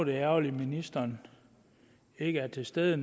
det ærgerligt at ministeren ikke er til stede